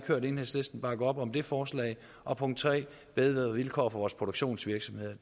hørt enhedslisten bakke op om det forslag og punkt tre bedre vilkår for vores produktionsvirksomheder